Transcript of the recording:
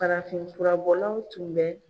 Farafin fura bɔlaw tun bɛ